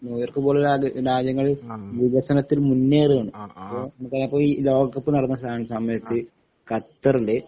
ന്യൂയോർക്കുപോലുള്ള രാത് രാജ്യങ്ങള് വികസനത്തില് മുന്നേറുകയാണ് അപ്പോ നമുക്കതായിപ്പോ ഈ ലോകകപ്പ്നടന്നസ സമയത്ത് കത്തറില്